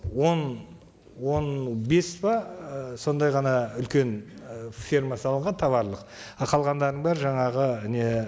он он бес пе і сондай ғана үлкен і ферма салынған тауарлық ал қалғандардың бәрі жаңағы не